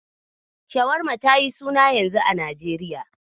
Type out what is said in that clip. Shawarma tayi suna yanzu a Najeriya.